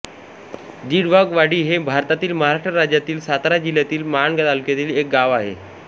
दिडवाघवाडी हे भारतातील महाराष्ट्र राज्यातील सातारा जिल्ह्यातील माण तालुक्यातील एक गाव आहे